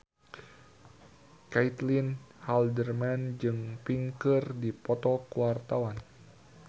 Caitlin Halderman jeung Pink keur dipoto ku wartawan